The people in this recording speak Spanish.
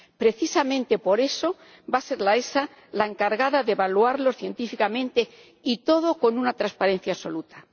Precisamente por eso, va a ser la EFSA la encargada de evaluarlos científicamente, y todo con una transparencia absoluta.